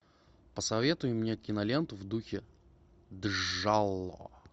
посоветуй мне киноленту в духе джалло